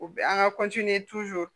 U bɛ an ka